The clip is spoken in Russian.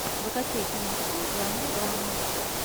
закачай киношку в жанре драма